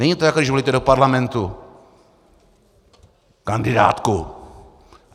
Není to, jako když volíte do parlamentu kandidátku.